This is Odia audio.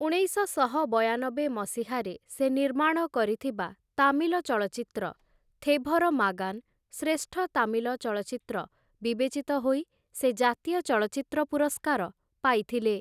ଉଣେଇଶଶହ ବୟାନବେ ମସିହାରେ ସେ ନିର୍ମାଣ କରିଥିବା ତାମିଲ ଚଳଚ୍ଚିତ୍ର 'ଥେଭର ମାଗାନ' ଶ୍ରେଷ୍ଠ ତାମିଲ ଚଳଚ୍ଚିତ୍ର ବିବେଚିତ ହୋଇ ସେ ଜାତୀୟ ଚଳଚ୍ଚିତ୍ର ପୁରସ୍କାର ପାଇଥିଲେ ।